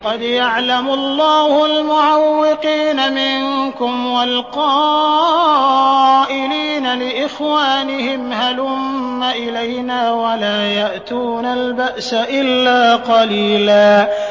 ۞ قَدْ يَعْلَمُ اللَّهُ الْمُعَوِّقِينَ مِنكُمْ وَالْقَائِلِينَ لِإِخْوَانِهِمْ هَلُمَّ إِلَيْنَا ۖ وَلَا يَأْتُونَ الْبَأْسَ إِلَّا قَلِيلًا